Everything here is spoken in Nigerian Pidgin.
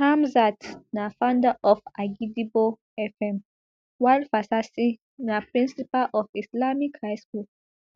hamzat na founder of agidigbo fm while fasasi na principal of islamic high school